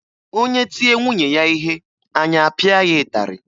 Onye tie nwunye ya ihe anyị apịa ya ịtarị